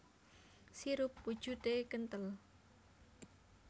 Sirup wujudé kenthel